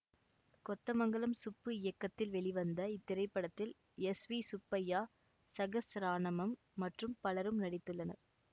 கொத்தமங்கலம் சுப்பு இயக்கத்தில் வெளிவந்த இத்திரைப்படத்தில் எஸ் வி சுப்பைய்யா சகஸ்ராணாமம் மற்றும் பலரும் நடித்துள்ளனர்